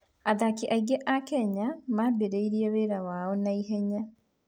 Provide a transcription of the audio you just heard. Athaki aingĩ a Kenya mambĩrĩria wĩra wao na ihenya.